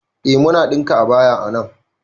Eh muna ɗinka abaya a nan